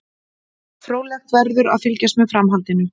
Fróðlegt verður að fylgjast með framhaldinu.